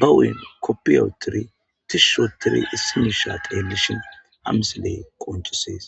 ba huyn koppiyaotiri tishshotiri issimisha teelishin hamisilee qoncusees